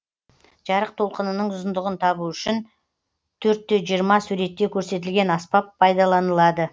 жарық толқынының ұзындығын табу үшін төрт те жиырма суретте көрсетілген аспап пайдаланылады